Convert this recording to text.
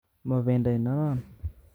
Mobendo inonon